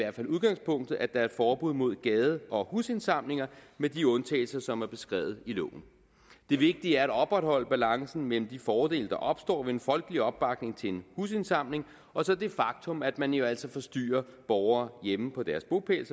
udgangspunktet at der er et forbud mod gade og husindsamlinger med de undtagelser som er beskrevet i loven det vigtige er at opretholde balancen mellem de fordele der opstår ved en folkelig opbakning til en husindsamling og så det faktum at man jo altså forstyrrer borgere hjemme på deres bopæl